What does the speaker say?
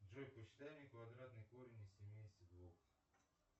джой посчитай мне квадратный корень из семидесяти двух